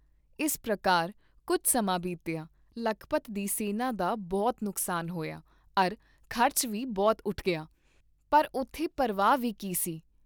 ਇਸ ਪ੍ਰਕਾਰ ਕੁੱਝ ਸਮਾਂ ਬੀਤਿਆ, ਲਖਪਤ ਦੀ ਸੈਨਾ ਦਾ ਬਹੁਤ ਨੁਕਸਾਨ ਹੋਇਆ ਅਰ ਖ਼ਰਚ ਵੀ ਬਹੁਤ ਉਠ ਗਿਆ, ਪਰ ਉਥੇ ਪਰਵਾਹ ਵੀ ਕੀਹ ਸੀ?